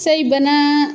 Sayi bana